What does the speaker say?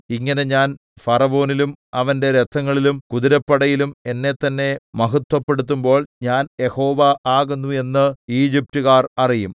ഇങ്ങനെ ഞാൻ ഫറവോനിലും അവന്റെ രഥങ്ങളിലും കുതിരപ്പടയിലും എന്നെത്തന്നെ മഹത്വപ്പെടുത്തുമ്പോൾ ഞാൻ യഹോവ ആകുന്നു എന്ന് ഈജിപ്റ്റുകാർ അറിയും